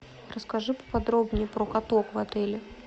расскажи поподробнее про каток в отеле